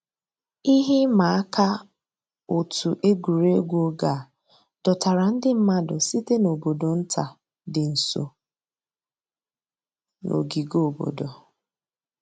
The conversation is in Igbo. Íhè ị̀mà àkà ọ̀tù ègwè́régwụ̀ ògè à dọ̀tárà ńdí mmàdụ̀ sị̀tè n'àbọ̀dò̀ ńtà dì́ ǹsọ̀ nà ògìgè àbọ̀dò̀.